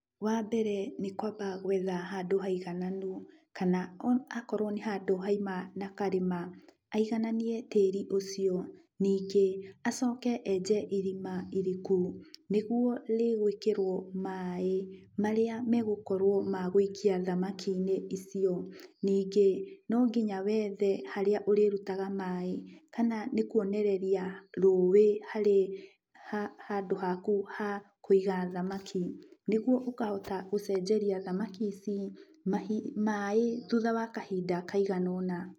Wambere nĩ kwamba gwetha handũ haigananu, kana o akorwo nĩ handũ haima na karĩma, aigananie tĩri ũcio, ningĩ acoke enje irima iriku, nĩguo rĩgwĩkĩrwo maaĩ, marĩa megukorwo magũikia thamaki - inĩ icio, ningĩ nonginya wethe harĩa ũrĩrutaga maaĩ, kana nĩ kwonoreria rũĩ, harĩ handũ haku hakũiga thamaki, nĩguo ũkahota gũcenjeria thamaki ici mahi maaĩ thutha wa kahinda kaigana ũna.